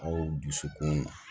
Aw dusukun